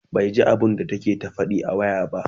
baiji abunda take ta Faɗi a waya ba